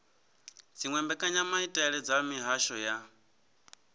dziwe mbekanyamaitele dza mihasho ya